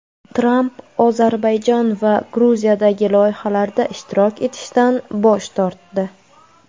Tramp Ozarbayjon va Gruziyadagi loyihalarda ishtirok etishdan bosh tortdi.